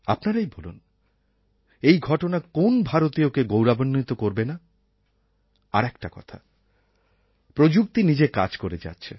আপনারাই বলুন এই ঘটনা কোন্ ভারতীয়কে গৌরবান্বিত করবে না আর একটা কথা প্রযুক্তি নিজের কাজ করে যাচ্ছে